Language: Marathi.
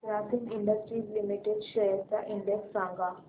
ग्रासिम इंडस्ट्रीज लिमिटेड शेअर्स चा इंडेक्स सांगा